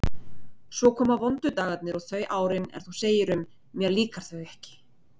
Svo komu vondu dagarnir og þau árin, er þú segir um: mér líka þau ekki.